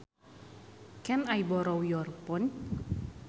Can I borrow your phone